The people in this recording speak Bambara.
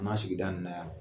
Na sigida nin na yan